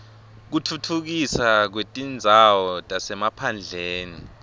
kutfutfukiswa kwetindzawo tasemaphandleni